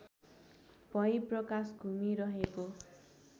भई प्रकाश घुमिरहेको